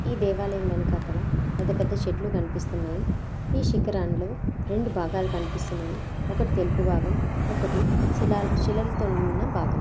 ఈ దేవాలయం వెనుకాతల పెద్ద పెద్ద చెట్లు కనిపిస్తున్నాయి ఈ శికరం లో రెండు భాగాలూ కనిపిస్తున్నాయి ఒక్కటి తెలుపు భాగం ఒకటి శిలాల్-శిలలతో ఉన్న బాగం.